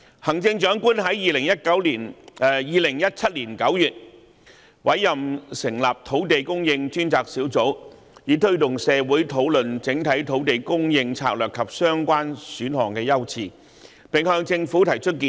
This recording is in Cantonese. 行政長官在2017年9月成立土地供應專責小組，以推動社會討論整體土地供應策略及相關選項的優次，並向政府提出建議。